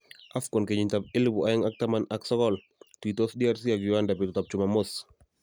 AFCON kenyitab elebu oeng ak taman ak sokol:Tuitos DRC ak Uganda betutab Jumamos